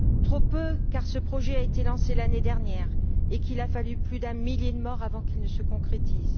Trop peu, car ce projet a été lancé l'année dernière et qu'il a fallu plus d'un millier de morts avant qu'il ne se concrétise.